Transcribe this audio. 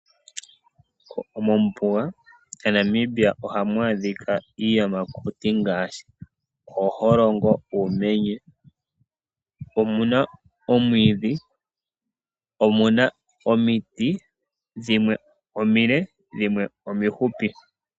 Mombuga yaNamibia ohamu adhika iiyamakuti ngaashi ooholongo, uumenye. Omu na omwiidhi, omu na omiti dhimwe omile dhimwe omihupi.